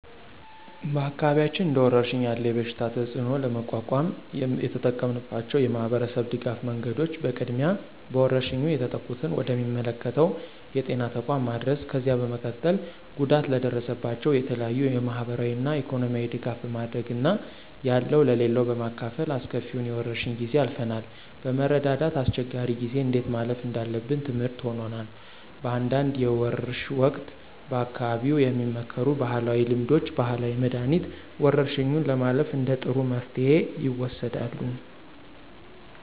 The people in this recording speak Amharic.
በአካባቢያችን እንደወረርሽኝ ያለ የበሽታ ተፅእኖ ለመቋቋም የተጠቀምንባቸው የማህበረሰብ ድጋፍ መንገዶች በቅድሚያ በወረርሽኙ የተጠቁትን ወደ ሚመለከተው የጤና ተቋም ማድረስ፣ ከዚያ በመቀጠል ጉዳት ለደረሰባቸው የተለያዩ የማህበራዊና ኢኮኖሚያዊ ድጋፍ በማድረግ እና ያለው ለሌለው በማካፈል አስከፊውን የወረርሽ ጊዜ አልፈናል። በመረዳዳት አስቸጋሪ ጊዜን እንዴት ማለፍ እንዳለብን ትምርህት ሆኖናል። በአንዳንድ የወርሽ ወቅት በአካባቢው የሚመከሩ ባህላዊ ልምዶች፣ ባህላዊ መድኃኒት፣ ወረርሽኙን ለማለፍ እንደ ጥሩ መፍትሄ ይወሰዳሉ።